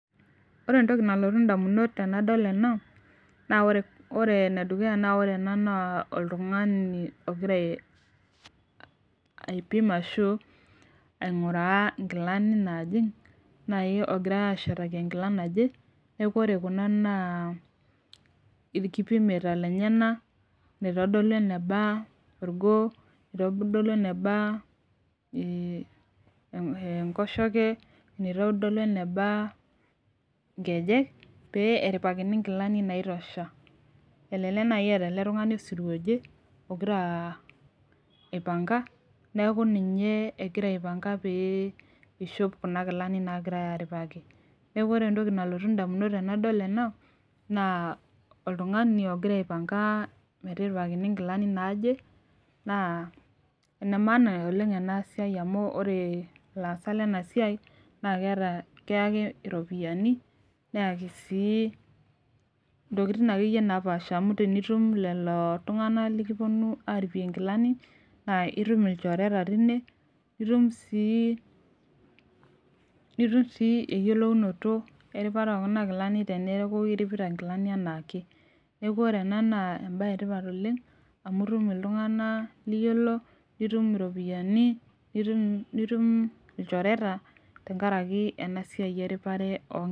Ore entoki nalotu damunot tenadol ena naa ore ene dukuya, naa ore ena naa oltungani ogira aipim ashu aingura nkilani naajing'.naaji oogirae ashetaki nkilani naje. neeku ore ena naa ilikipimeita lenyenak naitodolu eneba. orgoo. naitodolu eneba enkoshoke. naitodolu eneba, nkejek. pee eripakini nkilani naitosha. elelek naaji eeta ele tungani osirua oje ogira, aaipanga. neeku ninye egira aipanga pee ishop Kuna Kilani naagirae aaripaki. neeku ore entoki nalotu damunot tenadol ena, naa oltungani ogira aipanka metiripakini nkilani, naaje. naa ene maana oleng ena siai amu ore ilaasak lena siai naa keyaki iropiyiani. neyaki sii ntokitin akeyie napaasha. amu tenitum, lelo tungana likipuonu aaripie nkilani naa itum ilchoreta teine naa itum sii nitum sii eyiolounoto eripata oo Kuna Kilani teneeku itipita nkilani anaake. neeku ore ena naa ebae etipat oleng. amj itum iltunganak liyiolo. nitum iropiyiani. nitum ilchoreta, tenkaraki ena siai eripare oo nkilani.